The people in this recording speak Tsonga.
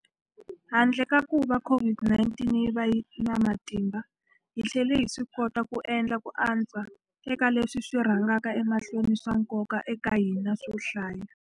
Handle ka kuva COVID-19 yi va na matimba, hi tlhele hi swikota ku endla ku antswa eka leswi swi rhangaka emahlweni swa nkoka eka hina swo hlaya.